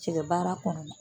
Cɛgɛ baara kɔnɔ